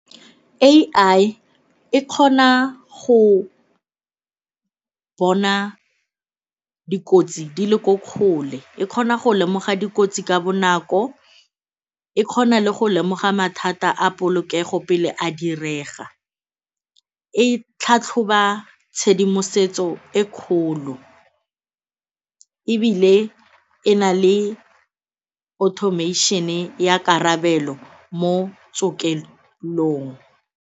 A_I e kgona go bona dikotsi dile ko kgole, e kgona go lemoga dikotsi ka bonako, e kgona le go lemoga mathata a polokego pele a direga, e tlhatlhoba tshedimosetso e kgolo ebile e na le automation-e ya karabelo mo .